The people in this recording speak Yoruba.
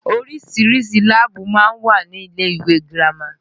Oríṣiríṣi láàbù máa ń wà ní ilé ìwé girama